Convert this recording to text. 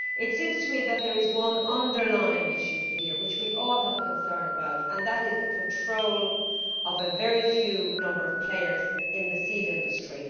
It seems to me that there is one underlying issue here, which we all have a concern about, and that is the control of a very small number of players in the seed industry.